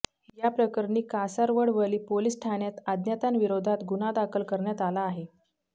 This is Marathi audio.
याप्रकरणी कासारवडवली पोलीस ठाण्यात अज्ञातांविरोधात गुन्हा दाखल करण्यात आला आहे